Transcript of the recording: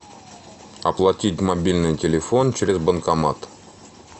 оплатить мобильный телефон через банкомат